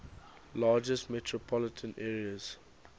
largest metropolitan areas